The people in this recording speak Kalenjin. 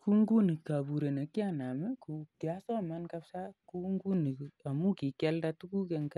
Kou nguni kapuret ne kianam i, kiasoman kapisa amu aldaishet ne kikialda tuguk eng'